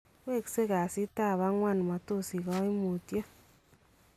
Weksei kasitab agwan , matosich kaimutyeet